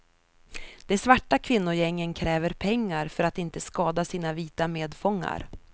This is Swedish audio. De svarta kvinnogängen kräver pengar för att inte skada sina vita medfångar.